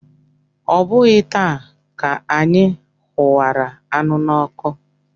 Ọ bụghị taa ka anyị hụwara anụ n'ọkụ.